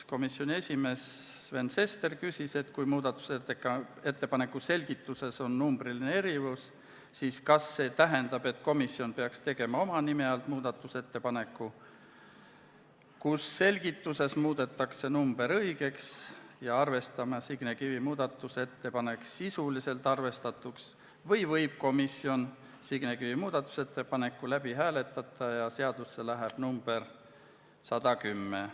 Komisjoni esimees Sven Sester küsis, et kui muudatusettepaneku selgituses on numbriline erinevus, siis kas see tähendab, et komisjon peaks tegema oma nime alt muudatusettepaneku, kus selgituses muudetakse number õigeks ja loeme Signe Kivi muudatusettepaneku sisuliselt arvestatuks või võib komisjon Signe Kivi muudatusettepaneku läbi hääletada ja seadusse läheb number 110.